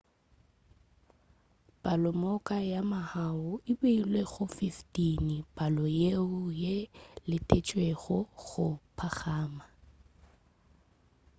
palomoka ya mahu e beilwe go 15 palo yeo e letetšwego go phagama